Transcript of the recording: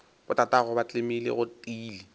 botatagwe ba tlemile go tiile